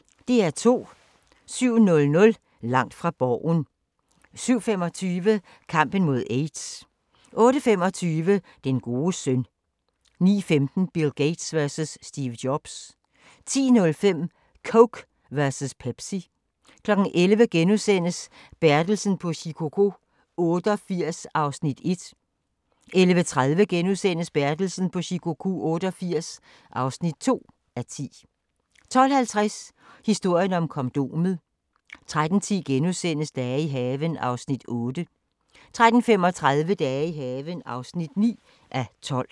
07:00: Langt fra Borgen 07:25: Kampen mod aids 08:25: Den gode søn 09:15: Bill Gates versus Steve Jobs 10:05: Coke versus Pepsi 11:00: Bertelsen på Shikoku 88 (1:10)* 11:30: Bertelsen på Shikoku 88 (2:10)* 12:50: Historien om kondomet 13:10: Dage i haven (8:12)* 13:35: Dage i haven (9:12)